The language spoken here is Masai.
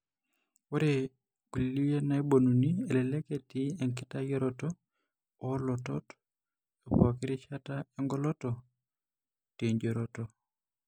Ore kulie naibonuni elelek etii enkitadoyioroto oolotot epookirishata oengoloto teijioroto.